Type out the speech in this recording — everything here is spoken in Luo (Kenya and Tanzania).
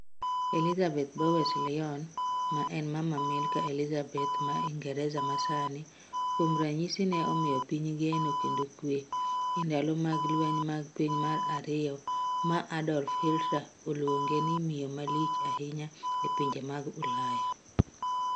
Elizabeth Bowes-Lyon, ma en mama malkia Elizabeth wa Uingereza ma sani, kuon ranyisi ne omiyo piny geno kendo kwee e ndalo mag lweny mag piny mar ariyo ma Adolf Hilter aluonge ni miyo ma lich ahinyo e pinje mag Ulaya